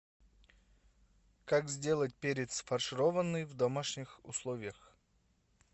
как сделать перец фаршированный в домашних условиях